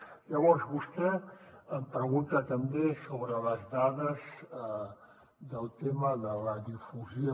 llavors vostè em pregunta també sobre les dades del tema de la difusió